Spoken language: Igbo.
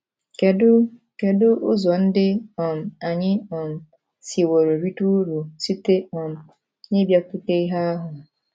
Kedu Kedu ụzọ ndị um anyị um siworo rite uru site um n’ịbịakwute ìhè ahụ?